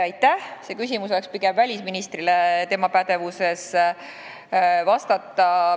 Selle küsimuse vastamine oleks pigem välisministri pädevuses.